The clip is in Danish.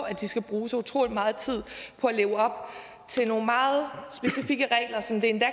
at de skal bruge så utrolig meget tid på at leve op til nogle meget specifikke regler som det endda